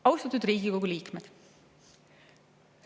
Austatud Riigikogu liikmed!